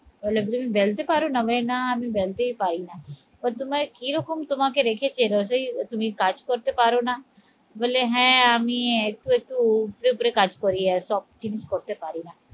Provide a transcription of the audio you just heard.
বললো তুমি বলতে পারো না? বলে না আমি বেলতে পরি না বা তোমার এরকম তোমাকে রেখেছে রোজই তুমি কাজ করতে পারো না বলে হ্যাঁ আমি একটু একটু উপুরে উপুরে কাজ করি, সব কিছু করতে পরি না